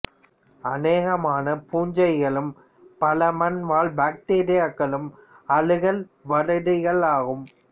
அனேகமான பூஞ்சைகளும் பல மண் வாழ் பக்டீரியாக்களும் அழுகல் வளரிகளாகும்